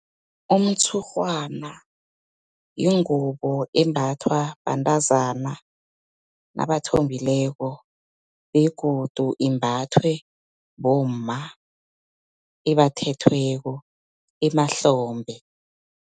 Umtshurhwana, yingubo embathwa bantazana nabathombileko, begodu imbathwe bomma, ebathethweko emahlombe.